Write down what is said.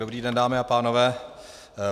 Dobrý den, dámy a pánové.